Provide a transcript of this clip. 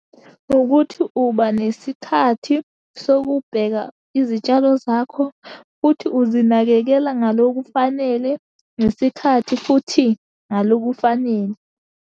Ukuthi uba nesikhathi sokubheka izitshalo zakho, futhi uzinakekele ngalo kufanele ngesikhathi, futhi ngalo kufanele.